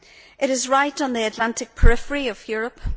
It is right on the Atlantic periphery of Europe.